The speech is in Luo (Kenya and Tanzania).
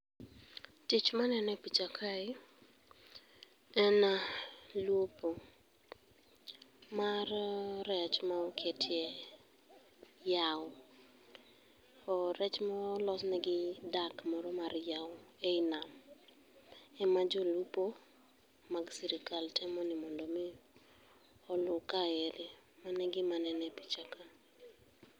Tich manene picha kae, en ah lupo, mar eh rech maoketie yao. Oh rech molosnegi i dak moro mar yao ei nam, ema jolupo mag sirikal temo ni mondo mi oluu. Mane gima aneno e picha kaendi.